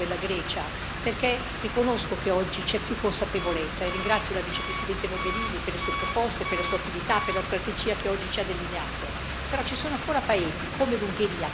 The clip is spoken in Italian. Ho detto priorità dell'Europa, e non dell'Italia o della Grecia, perché riconosco che oggi c'è più consapevolezza e ringrazio la Vicepresidente Mogherini per le sue proposte, per la sua attività e per la strategia che oggi ci ha delineato.